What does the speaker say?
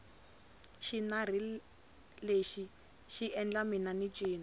xinari lexi xi endla mina ni cina